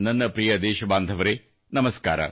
ನನ್ನ ಪ್ರಿಯ ದೇಶಬಾಂಧವರೆ ನಮಸ್ಕಾರ